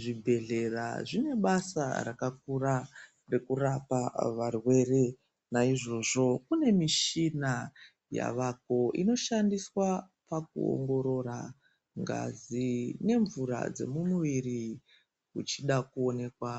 Zvibhehlera zvine basa rakakura rekurapa varwere. Naizvozvo kune michina yavako inoshandiswa pakuongorora ngazi nemvura dzemumuviri uchida kuonekwa